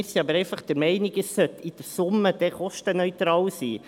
Wir sind aber einfach der Meinung, es sollte dann in der Summe kostenneutral sein.